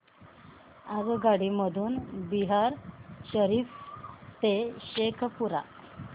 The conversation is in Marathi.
आगगाडी मधून बिहार शरीफ ते शेखपुरा